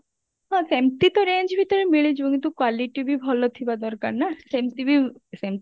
ହଁ ସେମତି ତ range ଭିତରେ ମିଳିଯିବ କିନ୍ତୁ quality ବି ଭଲ ଥିବା ଦରକାର ନା ସେମତି ବି ସେମତି